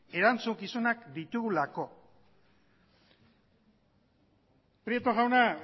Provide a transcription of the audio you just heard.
erantzukizunak ditugulako prieto jauna